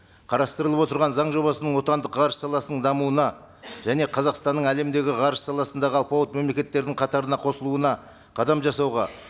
қарастырылып отырған заң жобасының отандық ғарыш саласының дамуына және қазақстанның әлемдегі ғарыш саласындағы алпауыт мемлекеттердің қатарына қосылуына қадам жасауға